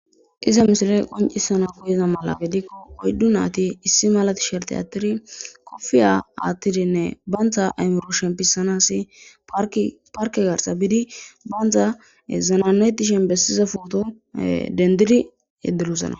Iza misileee qonccissana koyiza mala gizikko oyddu naathi issi mala thisherththiya aaththidi kofiya aaththidinne banththa aymiro shemppissanassi parkke garssa bidi banththa zanaanna7eththishin bessiza phootho denddiri yeddirosona.